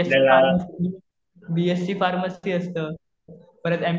BSc pharmacy, BSc pharmacy असतं. परत